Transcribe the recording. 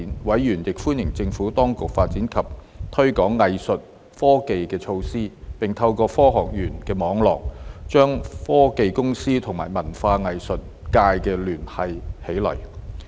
委員亦歡迎政府當局發展及推廣藝術科技的措施，並透過科學園的網絡，將科技公司與文化藝術界聯繫起來。